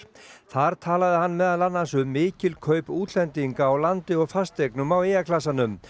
þar talaði hann meðal annars um mikil kaup útlendinga á landi og fasteignum á eyjaklasanum